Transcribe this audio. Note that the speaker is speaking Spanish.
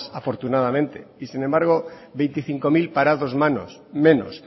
afortunadamente y sin embargo veinticinco mil parados menos